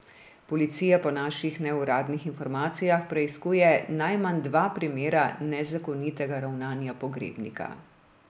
Policija po naših neuradnih informacijah preiskuje najmanj dva primera nezakonitega ravnanja pogrebnika.